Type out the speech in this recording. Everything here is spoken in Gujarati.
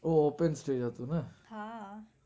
ઓહ open stage હતું ને?